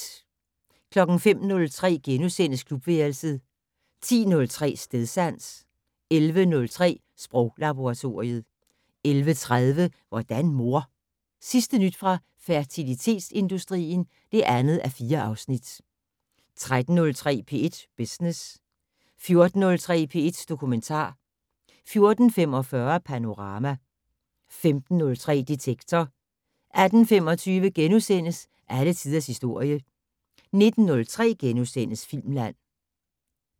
05:03: Klubværelset * 10:03: Stedsans 11:03: Sproglaboratoriet 11:30: Hvordan mor? Sidste nyt fra fertilitetsindustrien (2:4) 13:03: P1 Business 14:03: P1 Dokumentar 14:45: Panorama 15:03: Detektor 18:25: Alle tiders historie * 19:03: Filmland *